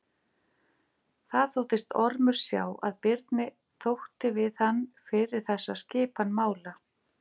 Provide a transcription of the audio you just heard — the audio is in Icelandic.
Það þóttist Ormur sjá að Birni þótti við hann fyrir þessa skipan mála.